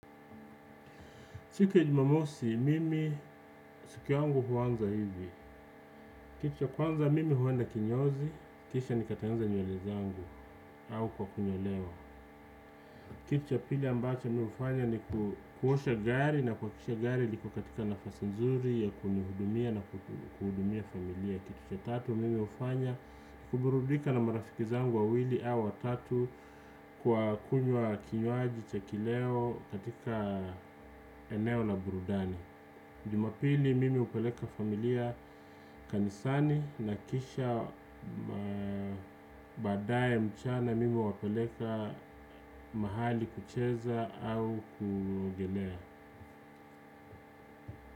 Siku ya jumamosi, mimi siku yangu huanza hivi. Kitu ya kwanza, mimi huenda kinyozi. Kisha nikatengeneza nywele zangu au kwa kunyolewa. Kitu ya pili ambacho mimi hufanya ni kuosha gari na kuhakikisha gari liko katika nafasi nzuri ya kunihudumia na kuhudumia familia. Kitu ya tatu, mimi hufanya kuburudika na marafiki zangu wawili au watatu kwa kunywa kinywaji cha kileo katika eneo la burudani. Jumapili mimi hupeleka familia kanisani na kisha baadaye mchana mimi huwapeleka mahali kucheza au kuogelea.